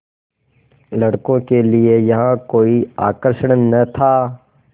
लड़कों के लिए यहाँ कोई आकर्षण न था